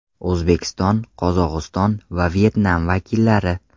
O‘zbekiston, Qozog‘iston va Vyetnam vakillari.